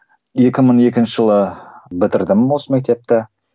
екі мың екінші жылы бітірдім осы мектепті